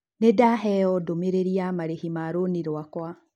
Nĩ ndaheo ndũmĩrĩri ya marĩhi ma rũni rũakwa.